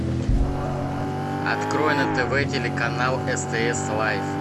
открой на тв телеканал стс лайф